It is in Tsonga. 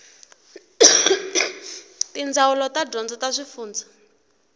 tindzawulo ta dyondzo ta swifundzha